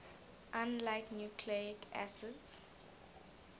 unlike nucleic acids